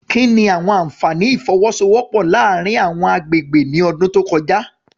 Kí ni àwọn àfààní ìfọwọ́sowọ́pọ̀ láàárín àwọn agbègbè ní ọdún tó kọjá?